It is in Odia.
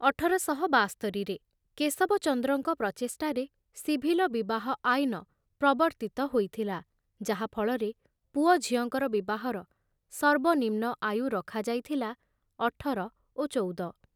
ଅଠର ଶହ ବାସ୍ତରିରେ କେଶବଚନ୍ଦ୍ରଙ୍କ ପ୍ରଚେଷ୍ଟାରେ ସିଭିଲ ବିବାହ ଆଇନ ପ୍ରବର୍ତ୍ତିତ ହୋଇଥିଲା, ଯାହା ଫଳରେ ପୁଅ ଝିଅଙ୍କର ବିବାହର ସର୍ବନିମ୍ନ ଆୟୁ ରଖାଯାଇଥିଲା ଅଠର ଓ ଚଉଦ।